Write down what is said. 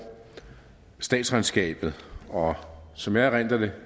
statsregnskabet og som jeg erindrer det